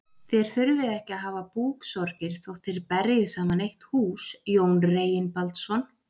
Þér þurfið ekki að hafa búksorgir þótt þér berjið saman eitt hús, Jón Reginbaldsson.